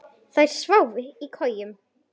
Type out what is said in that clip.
Þær sváfu í kojum.